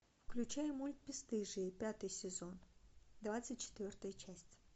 включай мульт бесстыжие пятый сезон двадцать четвертая часть